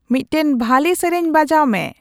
ᱢᱤᱫᱴᱟᱝ ᱵᱷᱟᱞᱮ ᱥᱮᱹᱨᱮᱹᱧ ᱵᱟᱡᱟᱣ ᱢᱮ